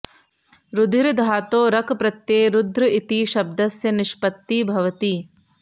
रुधिर् धातोः रक् प्रत्यये रुद्र इति शब्दस्य निष्पत्तिः भवति